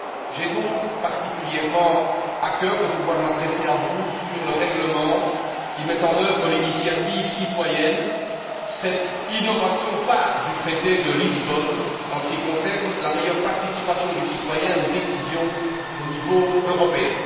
J'ai donc particulièrement à cœur de pouvoir m'adresser à vous sur le règlement qui met en œuvre l'initiative, citoyenne cette innovation phare du traité de Lisbonne en ce qui concerne la meilleure participation du citoyen aux décisions au niveau européen.